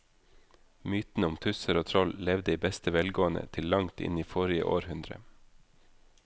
Mytene om tusser og troll levde i beste velgående til langt inn i forrige århundre.